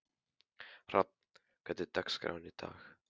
Hrafn, hvernig er dagskráin í dag?